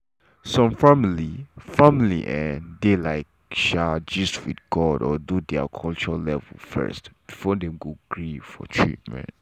some family family um dey like um gist with god or do their culture level first before dem gree for treatment.